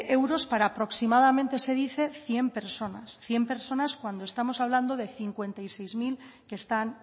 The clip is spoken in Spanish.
euros para aproximadamente se dice cien personas cien personas cuando estamos hablando de cincuenta y seis mil que están